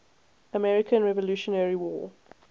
american revolutionary war